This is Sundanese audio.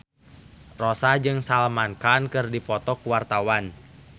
Rossa jeung Salman Khan keur dipoto ku wartawan